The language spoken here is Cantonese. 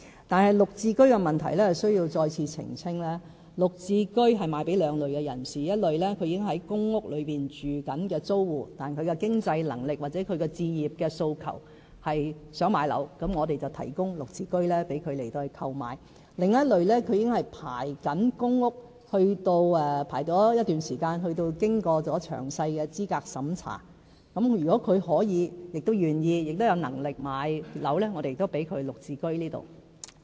但是，在"綠置居"問題上，我需要再次澄清，"綠置居"會售予兩類人士：一類是已正在公屋居住的租戶，但其經濟能力或置業訴求是想買樓，我們便提供"綠置居"讓他們購買；另一類是已正在輪候公屋一段時間，並已經過詳細資格審查的人士，如果他們可以，亦願意和有能力買樓，我們也讓他們購買"綠置居"。